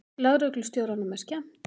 Lögreglustjóranum er skemmt.